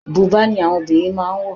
Bùbá ni àwọn obìnrin máà ń wọ̀.